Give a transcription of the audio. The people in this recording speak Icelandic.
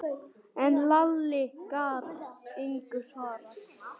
En Lalli gat engu svarað.